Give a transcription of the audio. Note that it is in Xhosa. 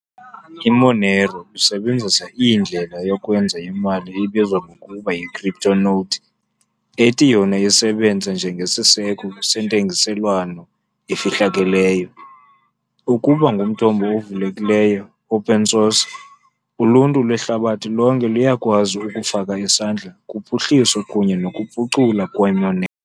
IMonero isebenzisa indlela yokwenza imali ebizwa ngokuba yi-CryptoNote, ethi yona isebenze njengesiseko sentengiselwano efihlakeleyo. Ukuba ngumthombo ovulekileyo, open source, uluntu lwehlabathi lonke luyakwazi ukufaka isandla kuphuhliso kunye nokuphuculwa kweMonero.